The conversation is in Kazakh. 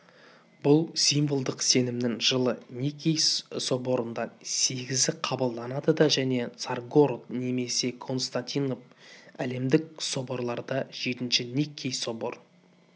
бүл символдық сенімнің жылы никей соборында сегізі қабылданды да және царьгород немесе константинопль әлемдік соборларда жетінші никкей соборын